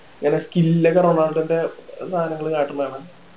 skill ഒക്കെ റൊണാൾഡോൻ്റെ സാധനങ്ങള് കാട്ടണതാണ്